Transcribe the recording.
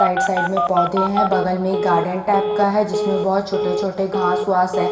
Side side में पौधे हैं बगल में एक गार्डन टाइप का है जिसमें बहुत छोटे-छोटे घास वास है ।